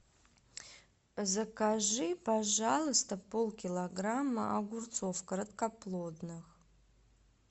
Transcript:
закажи пожалуйста полкилограмма огурцов короткоплодных